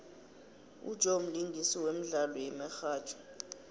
ujoe mlingisi wemdlalo yemihatjho